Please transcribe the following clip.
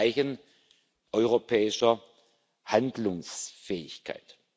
Sie ist ein Zeichen europäischer Handlungsfähigkeit.